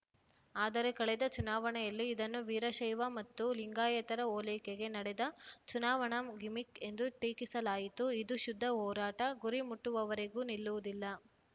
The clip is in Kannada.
ಆದರೆ ಕಳೆದ ಚುನಾವಣೆಯಲ್ಲಿ ಇದನ್ನು ವೀರಶೈವ ಮತ್ತು ಲಿಂಗಾಯತರ ಓಲೈಕೆಗೆ ನಡೆದ ಚುನಾವಣಾ ಗಿಮಿಕ್‌ ಎಂದು ಟೀಕಿಸಲಾಯಿತು ಇದು ಶುದ್ಧ ಹೋರಾಟ ಗುರಿ ಮುಟ್ಟುವವರೆಗೂ ನಿಲ್ಲುವುದಿಲ್ಲ